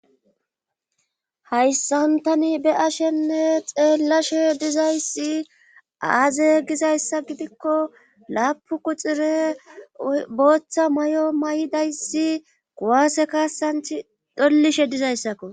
Hayssantani be ashenne xeellashe dizayssi aaze gizayssa gidikko laapu quxire booththa may'o may'dayssi guwaase kassanthi dollishe dizayssakko.